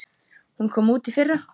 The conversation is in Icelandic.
Hún kom út í fyrra.